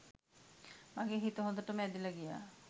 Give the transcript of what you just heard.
මගෙ හිත හොදටම ඇදිලා ගියා